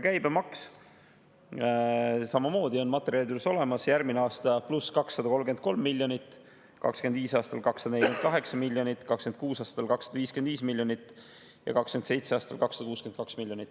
Käibemaks on samamoodi materjalides olemas: järgmine aasta +233 miljonit, 2025. aastal 248 miljonit, 2026. aastal 255 miljonit ja 2027. aastal 262 miljonit.